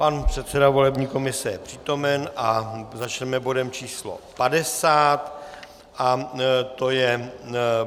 Pan předseda volební komise je přítomen a začneme bodem číslo 50 a to je